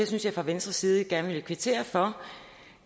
synes fra venstres side at jeg gerne vil kvittere for